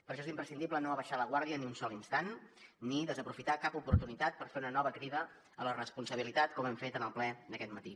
per això és imprescindible no abaixar la guàrdia ni un sol instant ni desaprofitar cap oportunitat per fer una nova crida a la responsabilitat com hem fet en el ple d’aquest matí